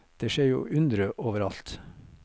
Det skjer jo undre over alt.